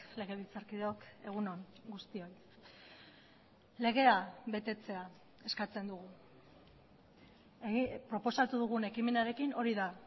legebiltzarkideok egun on guztioi legea betetzea eskatzen dugu proposatu dugun ekimenarekin hori da